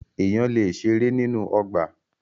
Èèyàn lè ṣeré nínú ọgbà.